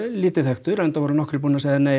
lítið þekktur nokkrir búnir að segja nei